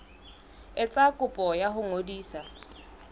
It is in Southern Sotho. etsa kopo ya ho ngodisa